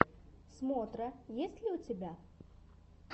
смотра есть ли у тебя